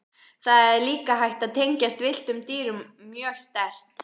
Það er líka hægt að tengjast villtum dýrum mjög sterkt.